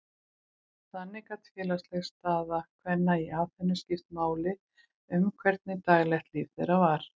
Þannig gat félagsleg staða kvenna í Aþenu skipt máli um hvernig daglegt líf þeirra var.